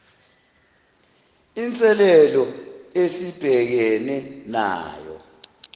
inselelo esibhekene nayo